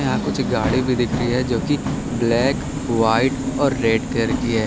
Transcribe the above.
यहाँ कुछ गाड़ी भी दिख रही है जो की ब्लैक व्हाइट और रेड कलर की है।